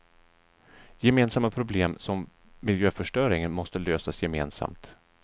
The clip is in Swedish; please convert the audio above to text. Gemensamma problem som miljöförstöringen måste lösas gemensamt.